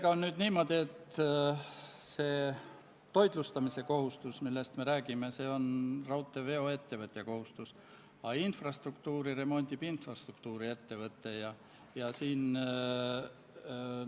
NATO reageerimisüksusi võidakse kasutada eelkõige NATO lepingu alusel läbiviidavas kollektiivse enesekaitse operatsioonis.